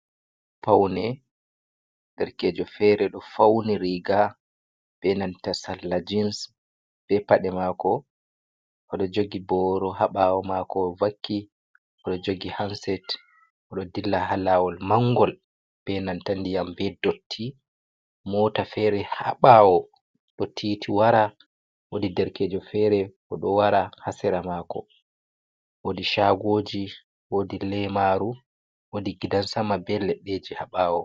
Faune, derkeejo feere ɗo fauni riiga bee salla jins, bee paɗe maako, oɗo jogi booro ha ɓaawo maako vakki, oɗo joogi hanset. Oɗo dilla ha laawol manngol bee nanta ndiyam bee dotti moota feere ha ɓaawo ɗo tiiti wara. Woodi derkeejo feere bo ɗo wara haa sera myako woodi shaagooji woodi leemaaru, woodi gidan sama bee leɗɗeeji ha ɓawo.